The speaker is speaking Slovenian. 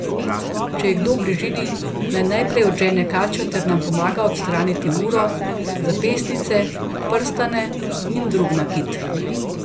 Če je kdo v bližini, naj najprej odžene kačo ter nam pomaga odstraniti uro, zapestnice, prstane in drug nakit.